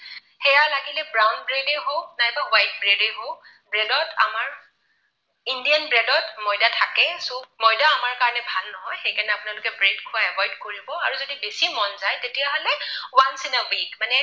লাগিলে brown bread এই হওক নাইবা white bread এই হওক bread ত আমাৰ indian bread ত ময়দা থাকেই so ময়দা আমাৰ কাৰণে ভাল নহয় সেইকাৰণে আপোনালোকে bread খোৱা avoid কৰিব আৰু যদি বেছি মন যায় তেতিয়াহলে once in a week মানে